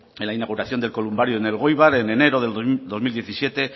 en la inauguración del columbario en elgoibar en enero del dos mil diecisiete